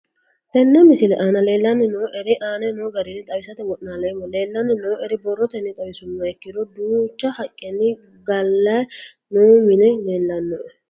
Tene misile aana leelanni nooerre aane noo garinni xawisate wonaaleemmo. Leelanni nooerre borrotenni xawisummoha ikkiro duucha haqqenni gaale noo minni leelanoe.